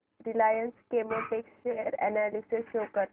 Reliance Chemotex share analysis show कर